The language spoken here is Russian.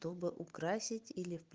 чтобы украсить или